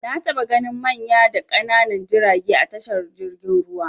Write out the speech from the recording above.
Na taɓa ganin manya da ƙananan jirage a tashar jirgin ruwa.